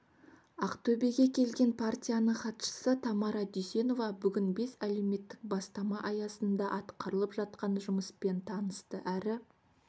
ақтөбеге келген партияның хатшысы тамара дүйсенова бүгін бес әлеуметтік бастама аясында атқарылып жатқан жұмыспен танысты әрі